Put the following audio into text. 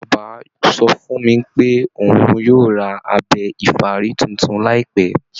Bàbá sọ fún mi pé òun yóò ra abẹ ìfárí tuntun láìpẹ́